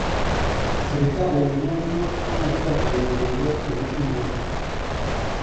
sibitali nenyalunot ak netaa konya pelyot en India